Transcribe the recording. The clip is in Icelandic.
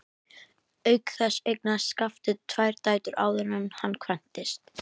Auk þess eignaðist Skafti tvær dætur áður en hann kvæntist.